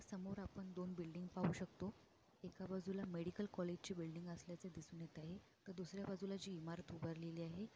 समोर आपण दोन बिल्डिंग पाहू शकतो एका बाजूला मेडिकल कॉलेज चे बिल्डिंग असल्याचे दिसून येत आहे तर दुसर्‍या बाजूला जी इमारत उभारलेली आहे.